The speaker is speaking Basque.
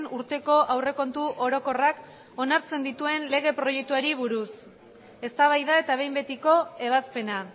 urteko aurrekontu orokorrak onartzen dituen lege proiektuari buruz eztabaida eta behin betiko ebazpena